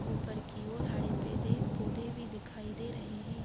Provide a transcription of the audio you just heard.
ऊपर की और हरे पेदे पौधे भी दिखाई दे रहे हैं।